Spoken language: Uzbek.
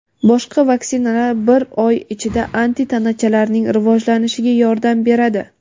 boshqa vaksinalar bir oy ichida antitanachalarning rivojlanishiga yordam beradi.